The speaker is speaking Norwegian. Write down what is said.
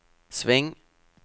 sving